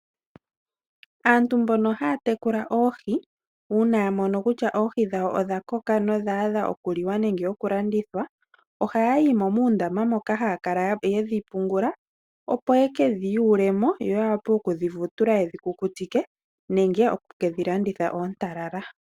Aantu mbono haya tekula oohi una ya mono kutya oohi dhawo odha koka nodha adha oku liwa nenge oku landitha. Oha yimo muundama moka haa kala ye dhi pungula. Opo yekedhi yuulemo yo ya wape okudhi vutule yedhi kukutike nenge oku kedhi landitha oontalala.